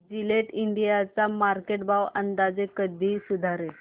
Gillette India चा market भाव अंदाजे कधी सुधारेल